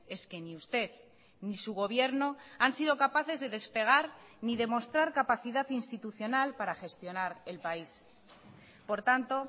es que ni usted ni su gobierno han sido capaces de despegar ni demostrar capacidad institucional para gestionar el país por tanto